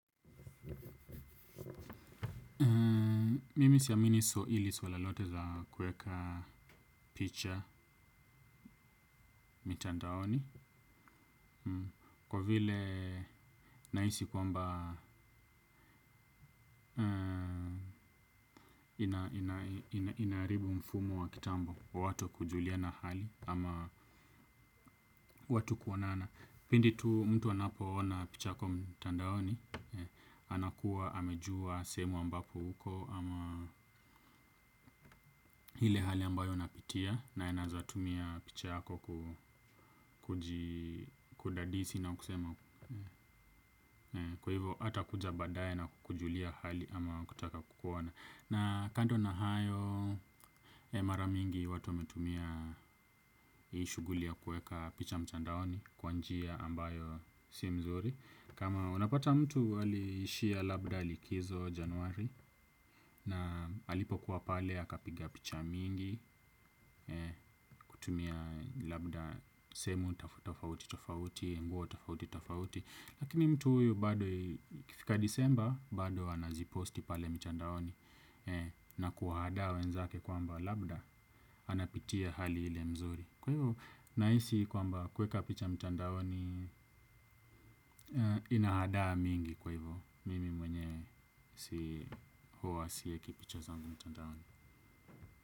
Mimi siamini swa hili swala lote za kuweka picha mitandaoni kwa vile nahisi kwamba inaharibu mfumo wa kitambo wa watu kujuliana hali ama watu kuonana. Pindi tu mtu anapo ona picha yako mtandaoni, anakuwa amejua sehemu ambapo huko ama ile hali ambayo unapitia na anaezatumia pichako kudadisi na kusema kwa hivo hata kuja baadaye na kukujulia hali ama kutaka kukuona. Na kando na hayo maramingi watu wametumia hii shuguli ya kuweka picha mtandaoni kwa njia ambayo si mzuri. Kama unapata mtu ali ishia labda likizo januari na alipo kuwa pale akapiga picha mingi kutumia labda sehemu tofauti tofauti nguo tofauti tofauti. Lakini mtu huyu bado ikifika disemba bado anaziposti pale mtandaoni na kuwahadaa we nzake kwa mba labda anapitia hali ile mzuri. Kwa hivyo nahisi kwa mba kuweka picha mtandaoni inahadaa mingi kwa hivyo mimi mwenyewe si huwa siweki picha zangu mtandaoni.